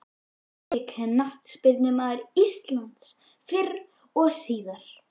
Besti knattspyrnumaður íslands fyrr og síðar?